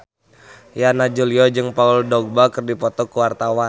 Yana Julio jeung Paul Dogba keur dipoto ku wartawan